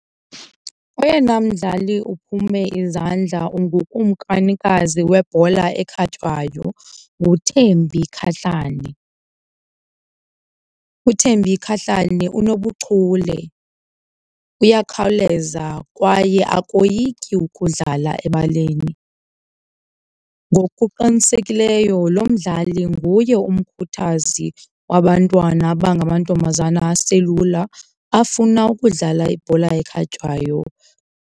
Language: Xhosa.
Oyena mdlali uphume izandla ngukumkanikazi webhola ekhatywayo nguThembi Kgatlana, uThembi Kgatllana unobuchule, uyakhawuleza kwaye akoyiki ukudlala ebaleni. Ngokuqinisekileyo lo mdlali nguye umkhuthazi wabantwana abangamantombazana aselula afuna ukudlala ibhola ekhatywayo.